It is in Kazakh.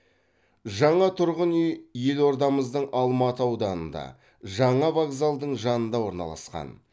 жаңа тұрғын үй елордамыздың алматы ауданында жаңа вокзалдың жанында орналасқан